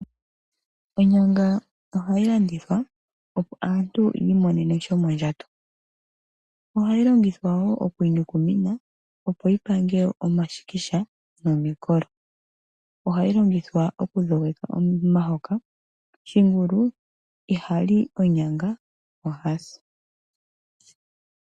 Onyanga ohayi landithwa opo aantu ya imonene shomondjato. Ohayi longithwa wo oku inyukumina opo yi pange omashikisha nomikolo. Ohayi longithwa okudhogeka omahoka. Shingulu ihali onyanga oha si.